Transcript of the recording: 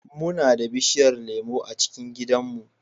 Muna da bishiyar lemu a cikin gidanmu.